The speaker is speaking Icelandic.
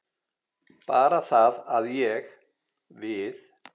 Bara það að ég. við.